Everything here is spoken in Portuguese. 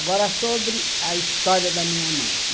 Agora, sobre a história da minha mãe.